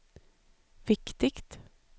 viktigt